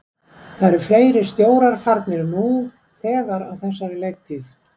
Það eru fleiri stjórar farnir nú þegar á þessari leiktíð.